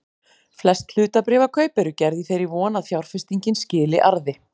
Flest hlutabréfakaup eru gerð í þeirri von að fjárfestingin skili arði.